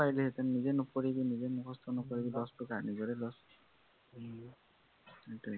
নিজেই নপঢ়িবি নিজেই মুখস্থ নকৰিবি, lost টো কাৰ নিজৰেই lost